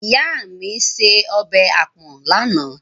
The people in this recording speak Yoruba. Ìyá mi se ọbẹ̀ àpọ̀n lánàá.